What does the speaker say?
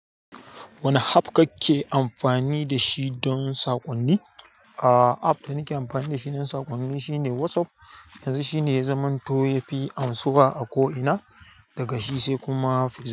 Wane app kake amfani da shi don saƙonni? Aaa, app da nake amfani da shi don saƙonni shine WhatsApp. Yanzu shine ya zamanto yafi amsuwa a ko ina, daga shi sai kuma Facebook.